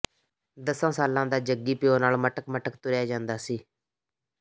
ਦਸਾਂ ਸਾਲਾਂ ਦਾ ਜੱਗੀ ਪਿਉ ਨਾਲ ਮਟਕ ਮਟਕ ਤੁਰਿਆ ਜਾਂਦਾ ਸੀ